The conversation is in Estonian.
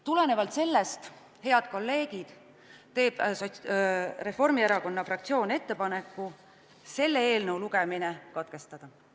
Tulenevalt sellest, head kolleegid, teeb Reformierakonna fraktsioon ettepaneku selle eelnõu lugemine katkestada.